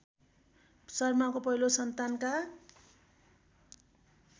शर्माको पहिलो सन्तानका